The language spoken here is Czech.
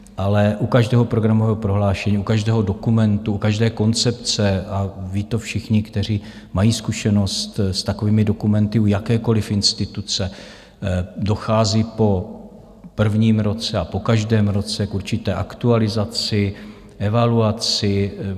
Ale u každého programového prohlášení, u každého dokumentu, u každé koncepce, a ví to všichni, kteří mají zkušenost s takovými dokumenty u jakékoliv instituce, dochází po prvním roce a po každém roce k určité aktualizaci, evaluaci.